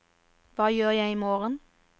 hva gjør jeg imorgen